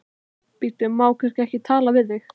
Bíddu, má kannski ekki tala við þig?